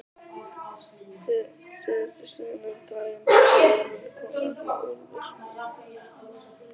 Síðast í sögunni um gæjann og úlfinn kom nefnilega úlfur.